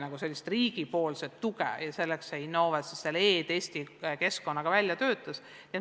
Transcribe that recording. Väga oodati riigipoolset tuge ja selleks töötaski Innove välja e-testi keskkonna.